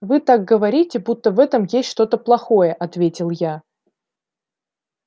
вы так говорите будто в этом есть что-то плохое ответил я